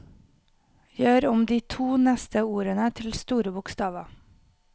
Gjør om de to neste ordene til store bokstaver